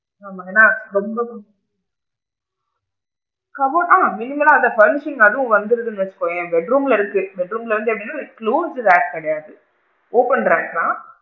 ஆ பாத்திங்கனா ரொம்ப cupboard ஆ minimal லா அதான் furnishing ல அதுவும் வந்துருன்னு வச்சுக்கோயேன் bedroom ல இருக்கு bedroom ல எப்படி அப்படின்னா close rack கிடையாது open rack தான்,